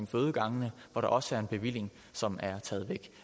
fødegangene hvor der også er en bevilling som er taget væk